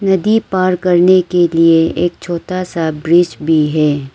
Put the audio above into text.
नदी पार करने के लिए एक छोटा सा ब्रिज भी है।